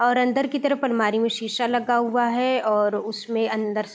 और अंदर की तरफ अलमारी में सीसा लगा हुआ है और उसमे अंदर --